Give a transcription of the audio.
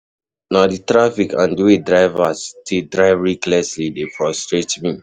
Na di traffic and di way drivers dey drive recklessly dey frustrate me.